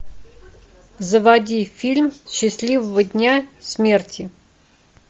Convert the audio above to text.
заводи фильм счастливого дня смерти